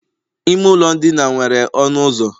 ime ụlọ ndina nwere ọnụ ụzọ